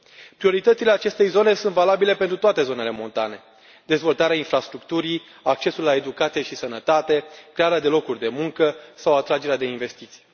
Prioritățile acestei zone sunt valabile pentru toate zonele montane dezvoltarea infrastructurii, accesul la educație și sănătate, crearea de locuri de muncă sau atragerea de investiții.